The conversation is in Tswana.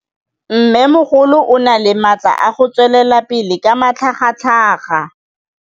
Mmêmogolo o na le matla a go tswelela pele ka matlhagatlhaga.